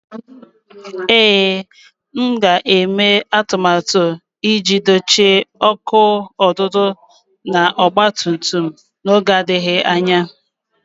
Ee, m na-eme atụmatụ iji dochie ọkụ ọdụdụ na ọgba tum tum m n'oge na-adịghị anya